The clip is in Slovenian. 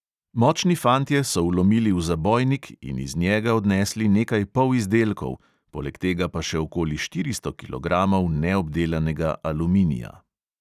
Močni fantje so vlomili v zabojnik in iz njega odnesli nekaj polizdelkov, poleg tega pa še okoli štiristo kilogramov neobdelanega aluminija.